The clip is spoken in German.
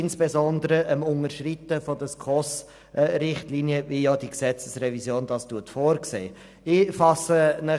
Insbesondere war das Unterschreiten der SKOS-Richtlinien, wie in dieser Gesetzesrevision vorgesehen, ein Thema.